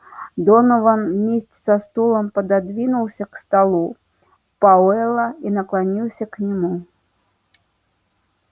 донован вместе со стулом пододвинулся к столу пауэлла и наклонился к нему